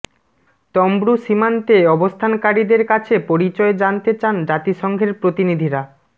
তমব্রু সীমান্তে অবস্থানকারীদের কাছে পরিচয় জানতে চান জাতিসংঘের প্রতিনিধিরা